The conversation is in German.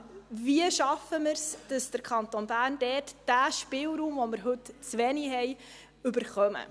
Wie schaffen wir es, dass der Kanton Bern diesen Spielraum, den er heute zu wenig hat, bekommt?